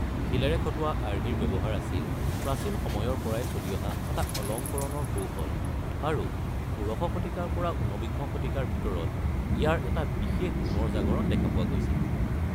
শিলেৰে খটোৱা আৰ্হিৰ ব্যৱহাৰ আছিল প্ৰাচীন সময়ৰ পৰাই চলি অহা এটা অলংকৰণৰ কৌশল আৰু ষোড়শ শতিকাৰ পৰা ঊনবিংশ শতিকাৰ ভিতৰত ইয়াৰ এটা বিশেষ পুনৰ জাগৰণ দেখা পোৱা গৈছিল।